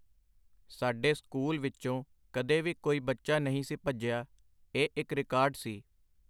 ਸਾਡੇ ਸਕੂਲ ਵਿੱਚੋਂ ਕਦੇ ਵੀ ਕੋਈ ਬੱਚਾ ਨਈ ਸੀ ਭੱਜਿਆ ਇਹ ਇੱਕ ਰਿਕਾਰਡ ਸੀ.